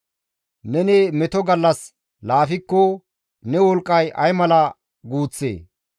Neni meto gallas laafikko, ne wolqqay ay mala guuththee?